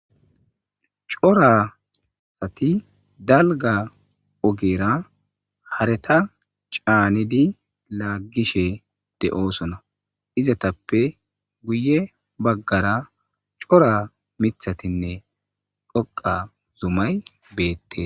Cora asati dalga ogera hareeta caanidi laaggishe de'oosona. Izatappe guye baggara cora mittatinne xoqqa a zumay beettes.